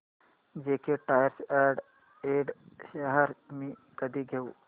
JK tyre and ind shares मी कधी घेऊ